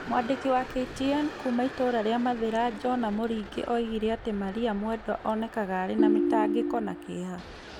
Mwandĩki wa KTN kuuma itũra rĩa Mathira, Jona Muringi, oigire atĩ Maria mwedwa onekaga arĩ na mĩtangĩko na kĩeha".